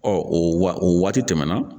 Ɔ o wa o waati tɛmɛna